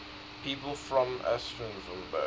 people from aschaffenburg